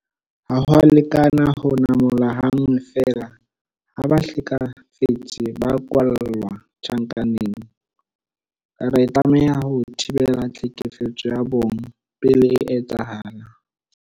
Ha ho a lekana ho namola ha nngwe feela ha bahlekefetsi ba kwalla tjhankaneng. Re tlameha ho thibela tlhekefetso ya bong pele e etsahala.